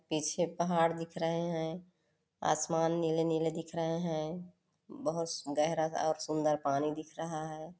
पीछें पहाड़ दिख रहे है आसमान नीले-नीले दिख रहे है बहोत सु गहरा और सुन्दर पानी दिख रहा है।